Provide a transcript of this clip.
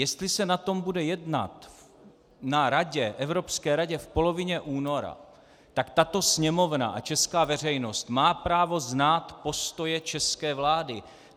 Jestli se o tom bude jednat na radě, Evropské radě v polovině února, tak tato Sněmovna a česká veřejnost má právo znát postoje české vlády.